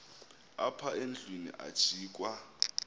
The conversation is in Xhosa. apha endlwini ajikwa